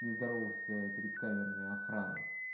не здоровался перед камерами охраны